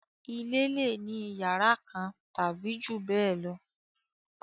Ilé lè ní iyàrá kan tàbí jù bẹ́ẹ̀ lọ